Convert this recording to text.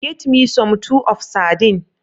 Get me some two of serdine